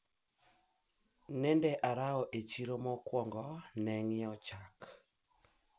nilipitia sokoni kwanza kununua maziwa